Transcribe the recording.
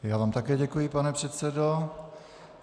Já vám také děkuji, pane předsedo.